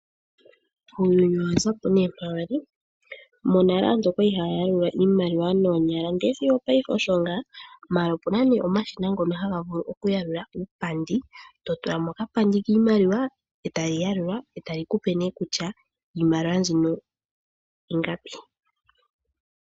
Uuyuni owazapo née mpa wali monale aantu oyali haayalula iimaliwa noonyala ndee sigo opayife osho ngaa, ashike mongaashi ngeyi opuna omashina ngoka haga vulu oku yalula uupandi to tulamo okapandi kiimaliwa meshina neshina ohali yalula kutya ingapi.